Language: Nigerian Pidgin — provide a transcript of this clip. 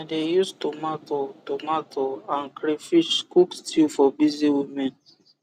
i de use tomato tomato and crayfish cook stew for busy women